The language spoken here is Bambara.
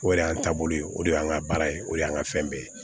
O de y'an taabolo ye o de y'an ka baara ye o de y'an ka fɛn bɛɛ ye